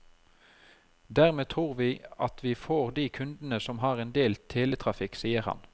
Dermed tror vi at vi får de kundene som har en del teletrafikk, sier han.